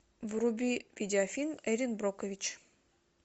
вруби видеофильм эрин брокович